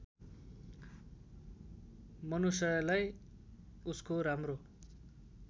मनुषयलाई उसको राम्रो